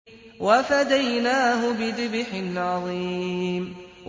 وَفَدَيْنَاهُ بِذِبْحٍ عَظِيمٍ